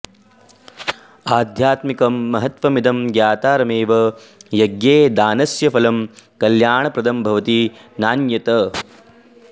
गावः अाध्यात्मिकमहत्त्वमिदं ज्ञातारमेव यज्ञे दानस्य फलं कल्याणप्रदं भवति नान्यत्